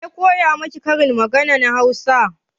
Waya koya miki karin maganan Hausa?